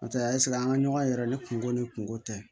N'o tɛ a an ka ɲɔgɔn yɛrɛ ne kun ko ni kungo tɛ